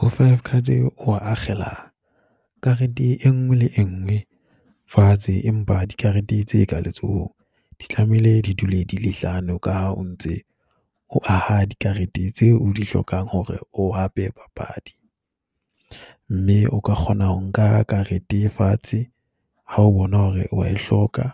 Ho five cards eo ho akgela karete e nngwe le e nngwe fatshe, empa dikarete tse ka letsohong di tlamehile di dule di le hlano, ka ha o ntse o aha dikarete tse o di hlokang hore o hape papadi. Mme o ka kgona ho nka karete e fatshe ha o bona hore o wa e hloka